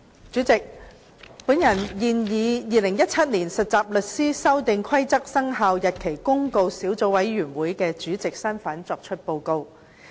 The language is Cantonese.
主席，我現以《〈2017年實習律師規則〉公告》小組委員會主席的身份作出報告。